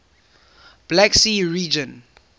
black sea region